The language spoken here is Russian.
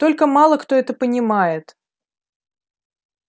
только мало кто это понимает